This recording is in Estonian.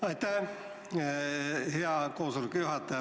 Aitäh, hea koosoleku juhataja!